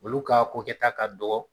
Olu ka kokɛta ka dɔgɔ